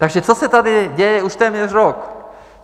Takže co se tady děje už téměř rok?